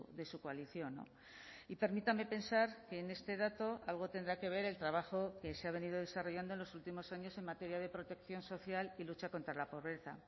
de su coalición y permítame pensar que en este dato algo tendrá que ver el trabajo que se ha venido desarrollando en los últimos años en materia de protección social y lucha contra la pobreza